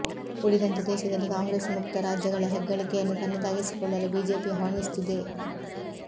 ಉಳಿದಂತೆ ದೇಶದಲ್ಲಿ ಕಾಂಗ್ರೆಸ್ ಮುಕ್ತ ರಾಜ್ಯಗಳ ಹೆಗ್ಗಳಿಕೆಯನ್ನು ತನ್ನದಾಗಿಸಿಕೊಳ್ಳಲು ಬಿಜೆಪಿ ಹವಣಿಸುತ್ತಿದೆ